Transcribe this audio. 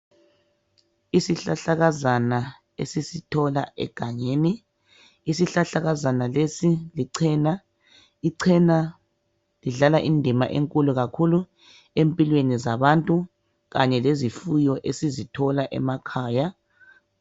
Isihlahlakazana esisithola egangeni isihlahlakazana lesi lichena ichena lidlala indima enkulu kakhulu empilweni zabantu kanye lezifuyo esizithola emakhaya